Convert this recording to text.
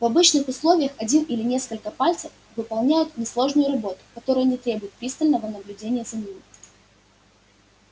в обычных условиях один или несколько пальцев выполняют несложную работу которая не требует пристального наблюдения за ними